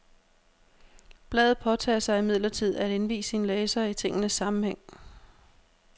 Bladet påtager sig imidlertid at indvie sine læsere i tingenes sammenhæng.